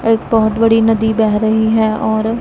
एक बहुत बड़ी नदी बह रही है और--